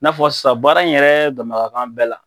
N'a fɔ sisan baara in yɛrɛ damaka kan bɛɛ la.